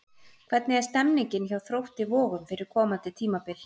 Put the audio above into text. Hvernig er stemningin hjá Þrótti Vogum fyrir komandi tímabil?